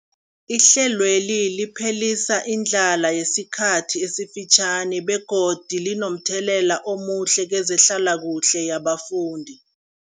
Ihlelweli liphelisa indlala yesikhathi esifitjhani begodu linomthelela omuhle kezehlalakuhle yabafundi.